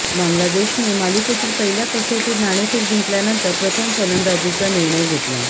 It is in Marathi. बांगलादेशने मालिकेतील पहिल्या कसोटीत नाणेफेक जिंकल्यानंतर प्रथम फलंदाजीचा निर्णय घेतला